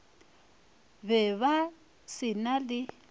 be ba se na le